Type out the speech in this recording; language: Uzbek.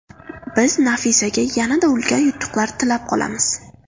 Biz Nafisaga yanada ulkan yutuqlar tilab qolamiz!